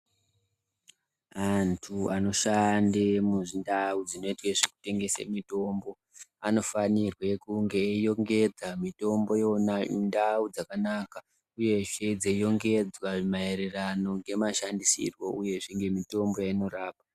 Antu anoshande mundau dzinoite zvekungesa mitombo anofanire kunge eirongedza mitombo yona mundau dzakanaka uyezve eirongedza maererano ngemashandisirwo uye ngemitombo yainorapa.